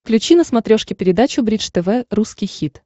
включи на смотрешке передачу бридж тв русский хит